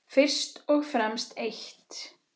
Fyrst og fremst eitt.